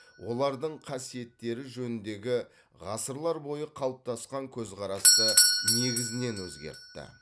олардың қасиеттері жөніндегі ғасырлар бойы қалыптасқан көзқарасты негізінен өзгертті